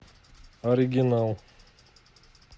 оригинал